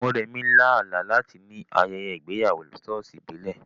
Moremi lá àlá láti ní ayẹyẹ ìgbéyàwó ṣọ́ọ̀ṣì ìbílẹ̀.